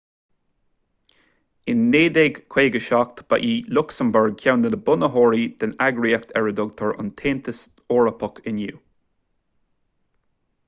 in 1957 ba í lucsamburg ceann de na bunaitheoirí den eagraíocht ar a dtugtar an taontas eorpach inniu